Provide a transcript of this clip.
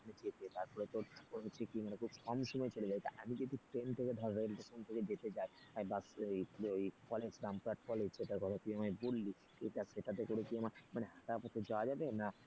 সেই তারপরে তোর অনেক কম সময়ে চলে যায় তা আমি যদি ট্রেন থেকে ধর ওই ভাবে যেতে চাই আমি বাস college রামপুরহাট college যেটার কথা তুই আমায় বললি সেটাতে করে কি আমার মানে তারপর তোর যাওয়া যাবে না,